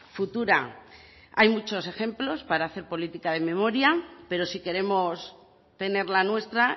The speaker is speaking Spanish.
futura hay muchos ejemplos para hacer política de memoria pero si queremos tener la nuestra